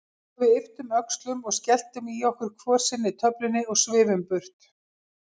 Svo við ypptum öxlum og skelltum í okkur hvor sinni töflunni og svifum burt.